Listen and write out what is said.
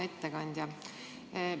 Hea ettekandja!